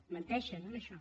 menteixen en això